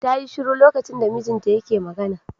Ta yi shiru lokacin da mijinta yake magana.